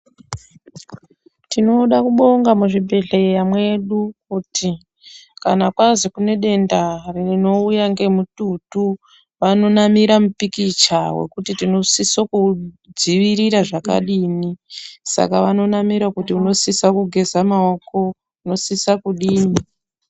Tinoda kubonga muzvibhedhleya mwedu kuti kana kwazi kune denda rinouya ngemututu vanonamira mupikicha wekuti tinosisa kuuudziirira zvakadini saka vanonamira kuti tinosisa kugeza maoko unosisa kudini.